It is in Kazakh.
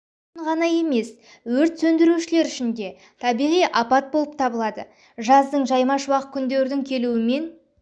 үшін ғана емес өрт сөндірушілер үшін да табиғи апат болып табылады жаздың жайма-шуақ күндердің келуімен